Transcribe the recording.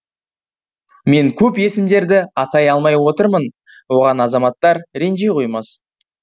мен көп есімдерді атай алмай отырмын оған азаматтар ренжи қоймас